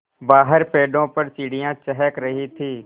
बाहर पेड़ों पर चिड़ियाँ चहक रही थीं